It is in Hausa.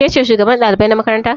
Ke ce shugaban ɗalibai na makaranta?